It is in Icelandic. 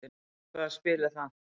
Hvað spil er það?